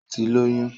Ó ti lóyún